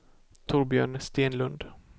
Torbjörn Stenlund